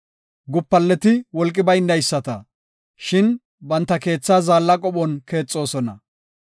Gupaleti wolqi baynayisata; shin banta keetha zaalla qophon keexoosona.